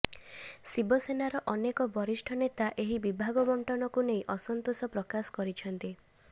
ଶିବସେନାର ଅନେକ ବରିଷ୍ଠ ନେତା ଏହି ବିଭାଗ ବଣ୍ଟନକୁ ନେଇ ଅସନ୍ତୋଷ ପ୍ରକାଶ କରିଛନ୍ତି